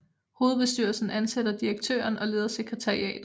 Hovedbestyrelsen ansætter direktøren og leder sekretariatet